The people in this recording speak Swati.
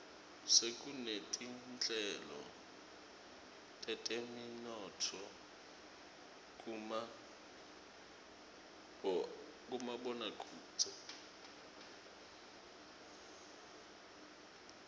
sekunetinhlelo teteminotfo kumaboakudze